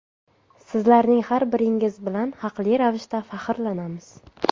Sizlarning har biringiz bilan haqli ravishda faxrlanamiz.